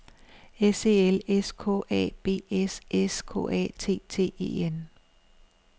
S E L S K A B S S K A T T E N